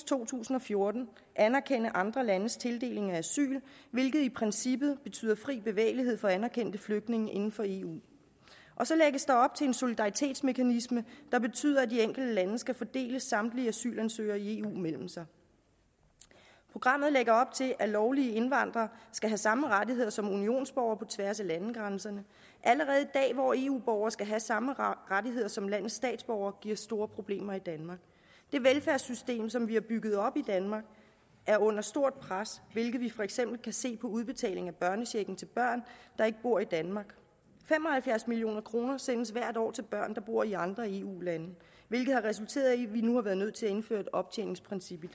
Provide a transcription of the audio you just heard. to tusind og fjorten anerkende andre landes tildeling af asyl hvilket i princippet betyder fri bevægelighed for anerkendte flygtninge inden for eu og så lægges der op til en solidaritetsmekanisme der betyder at de enkelte lande skal fordele samtlige asylansøgere i eu imellem sig programmet lægger op til at lovlige indvandrere skal have samme rettigheder som unionsborgere på tværs af landegrænserne allerede i dag hvor eu borgere skal have samme rettigheder som landets statsborgere giver det store problemer i danmark det velfærdssystem som vi har bygget op i danmark er under stort pres hvilket vi for eksempel kan se på udbetalingen af børnechecken til børn der ikke bor i danmark fem og halvfjerds million kroner sendes hvert år til børn der bor i andre eu lande hvilket har resulteret i at vi nu har været nødt til at indføre et optjeningsprincip i